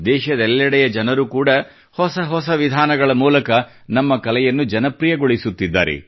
ದೇಶದೆಲ್ಲೆಡೆಯ ಜನರು ಕೂಡ ಹೊಸ ಹೊಸ ವಿಧಾನಗಳ ಮೂಲಕ ನಮ್ಮ ಕಲೆಯನ್ನು ಜನಪ್ರಿಯಗೊಳಿಸುತ್ತಿದ್ದಾರೆ